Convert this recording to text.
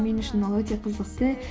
мен үшін ол өте қызықты